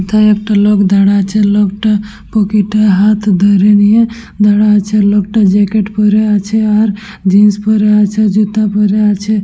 হেথায় একটা লোক দাড়ায়ে আছেলোকটো পকেট-এ হাত ভরে নিয়ে দাড়ায়ে আছেলোকটো জ্যাকেট পরে আছে আর জিন্স পরে আছে জুতো পরে আছে।